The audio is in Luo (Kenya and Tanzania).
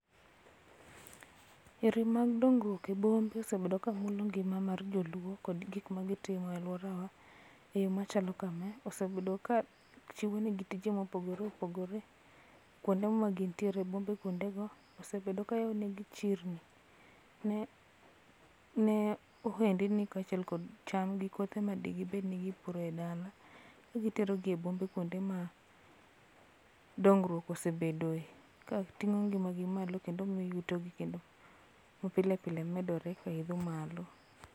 Yore mag dongruok e bombe osebed ka mulo ngima mar jo luo kod gik magitimo e aluora wa e yoo machalo kama. Osebedo ka chiwo negi tije mopogore opogore kuonde ma gintiere e bombe kuonde go. Osebedo ka yawnegi chiri ne ohendni kachiel kod cham gi kothe madibed ni gipuro e dala ka gitero gi e bombe kuonde ma dongruok osebedo e ka ting'o ngima gi malo kendo miyo yuto gi ma pile pile. medore kendo idho malo